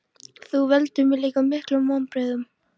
Þú veldur mér líka miklum vonbrigðum.